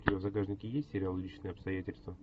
у тебя в загашнике есть сериал личные обстоятельства